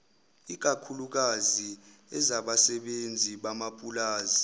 ikakhuklukazi ezabasebenzi bamapulazi